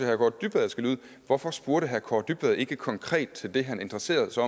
kaare dybvad skal lyde hvorfor spurgte herre kaare dybvad ikke konkret til det han interesserede sig